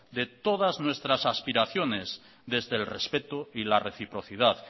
de todas nuestras aspiraciones desde el respeto y la reciprocidad